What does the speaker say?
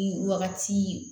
Nin wagati